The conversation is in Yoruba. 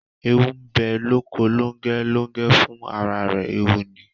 Eewu bẹ lóko Lóngẹ́, Lóngẹ́ fún ara rẹ̀ eewu ni